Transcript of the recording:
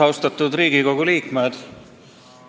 Austatud Riigikogu liikmed!